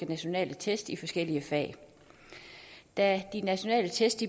nationale test i forskellige fag da de nationale test